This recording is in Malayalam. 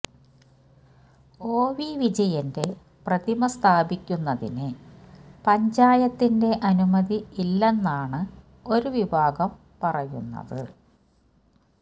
ഒ വി വിജയന്റെ പ്രതിമ സ്ഥാപിക്കുന്നതിന് പഞ്ചായത്തിന്റെ അനുമതി ഇല്ലെന്നാണ് ഒരുവിഭാഗം പറയുന്നത്